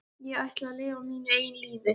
Ég ætla að lifa mínu eigin lífi.